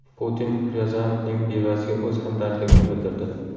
Putin Ryazanovning bevasiga o‘z hamdardligini bildirdi.